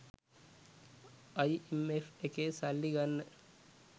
IMF එකේ සල්ලි ගන්න